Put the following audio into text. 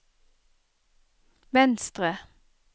venstre